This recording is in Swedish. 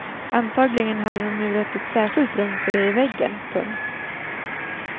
Antagligen hade de murat ett särskilt rum för det i väggen. punkt